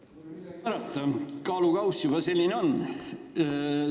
Pole midagi parata, kaalukausid siiski on olemas.